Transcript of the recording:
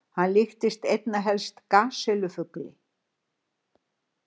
Hann líktist einna helst gasellu-fugli.